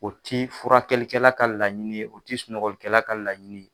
O tɛ furakɛlikɛla ka laɲini o tɛ sunɔgɔlikɛla ka laɲini.